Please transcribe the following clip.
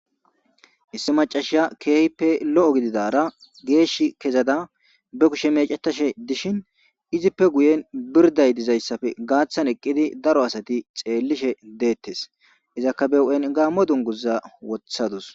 Issi maccashiya kehippe loo gididara geshi kezada ba kushshe meccetashshe dishini izippe guyeni biridayi dizayisappe gathani eqidi daro asati xeelishe detesi izzakka ba huphen Gamo duniguzara wothadus